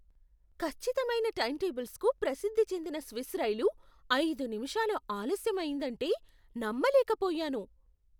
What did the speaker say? ఖచ్చితమైన టైంటేబుల్స్కు ప్రసిద్ధి చెందిన స్విస్ రైలు ఐదు నిమిషాలు ఆలస్యం అయిందంటే నమ్మలేకపోయాను.